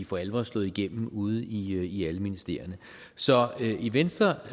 for alvor slået igennem ude i i alle ministerierne så i venstre